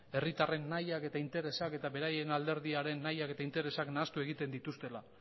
herritarren nahiak eta interesak eta beraien alderdiaren nahiak eta interesak nahastu egiten dituztela